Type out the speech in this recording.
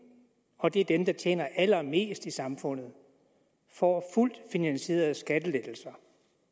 og det er dem der tjener allermest i samfundet får fuldt finansierede skattelettelser